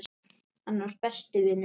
Hann var. besti vinur minn.